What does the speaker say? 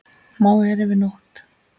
Má vera yfir nótt.